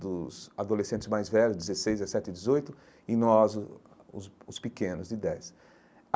dos adolescentes mais velhos, dezesseis dezessete, dezoito, e nós, os os os pequenos, de dez.